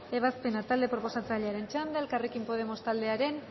ebazpena talde proposatzailearen txanda elkarrekin podemos taldearen